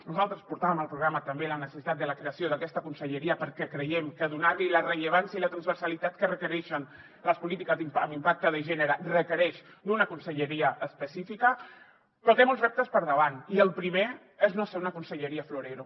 nosaltres portàvem al programa també la necessitat de la creació d’aquesta conselleria perquè creiem que donar la rellevància i la transversalitat que requereixen les polítiques amb impacte de gènere requereix una conselleria específica però té molts reptes per davant i el primer és no ser una conselleria florero